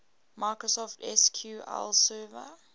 microsoft sql server